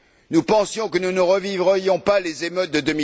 Nous pensions que nous ne revivrions pas les émeutes